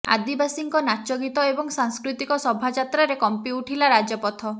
ଆଦିବାସୀଙ୍କ ନାଚଗୀତ ଏବଂ ସାଂସ୍କୃତିକ ସଭାଯାତ୍ରାରେ କମ୍ପି ଉଠିଲା ରାଜପଥ